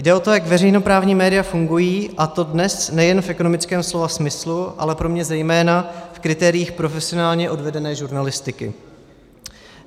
Jde o to, jak veřejnoprávní média fungují, a to dnes nejen v ekonomickém slova smyslu, ale pro mě zejména v kritériích profesionálně odvedené žurnalistiky.